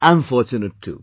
Am fortunate too